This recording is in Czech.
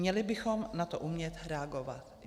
Měli bychom na to umět reagovat.